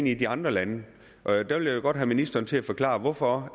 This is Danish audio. i de andre lande og der vil jeg godt have ministeren til at forklare hvorfor